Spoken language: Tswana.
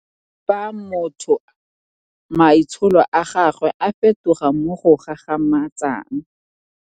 Fa motho maitsholo a gagwe a fetoga mo go gagamatsang.